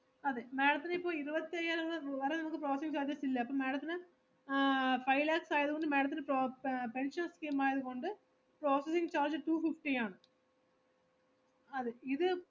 "sninja-text id=""fontsninja-text-793"" class=""fontsninja-family-55""അതെ madam ത്തിന് ഇപ്പൊ ഇരുപത്തയ്യായിരം രൂപ വരെ നമുക്ക് processing charges ഇല്ല, അപ്പൊ madam ത്തിന് ആഹ് five lakhs ആയതുകൊണ്ട് madam ത്തിന് po~ fontsninja-textpension scheme ആയതുകൊണ്ട് processing charge two fifty ആണ്. അതെ, ഇത്"